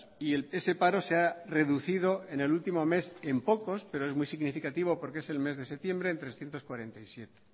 y ese paro se ha reducido en el último mes en pocos pero es muy significativo porque es el mes de septiembre en trescientos cuarenta y siete